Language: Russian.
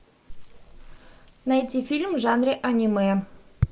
найти фильм в жанре аниме